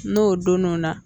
N'o donn'o na